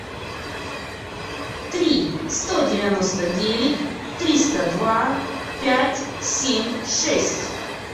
три сто девяносто девять триста два пять семь шесть